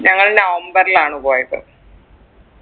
ഞങ്ങൾ നവംബറിലാണ് പോയത്